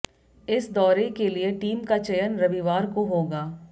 इस दौरे के लिए टीम का चयन रविवार को होगा